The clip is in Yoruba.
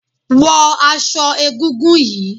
Wo aso egúngún yìí!